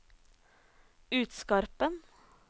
Utskarpen